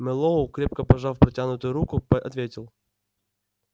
мэллоу крепко пожав протянутую руку ответил